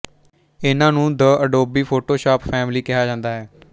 ਇਹਨਾਂ ਨੂੰ the Adobe Photoshop family ਕਿਹਾ ਜਾਂਦਾ ਹੈ